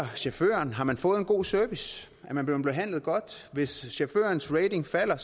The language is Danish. chaufføren har man fået en god service er man blevet behandlet godt hvis chaufførens rating falder